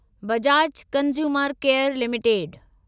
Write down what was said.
Bajaj consumer care limited